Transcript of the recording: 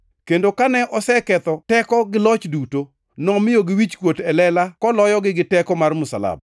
Kendo kane oseketho teko gi loch duto, nomiyogi wichkuot e lela koloyogi gi teko mar msalaba.